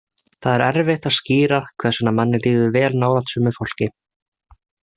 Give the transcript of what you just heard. Það er erfitt að skýra hvers vegna manni líður vel nálægt sumu fólki.